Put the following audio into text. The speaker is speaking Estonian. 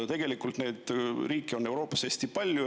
Tegelikult neid riike on Euroopas hästi palju.